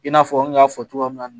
I n'a fɔ n kun y'a fɔ cogoya min na